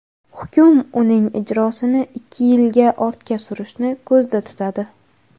Hukm uning ijrosini ikki yilga ortga surishni ko‘zda tutadi.